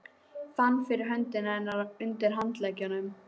Fann fyrir hönd hennar undir handleggnum.